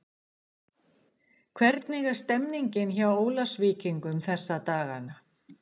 Hvernig er stemmningin hjá Ólafsvíkingum þessa dagana?